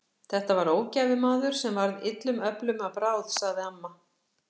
Þetta var ógæfumaður sem varð illum öflum að bráð, sagði amma.